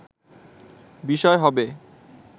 বিষয় হবে”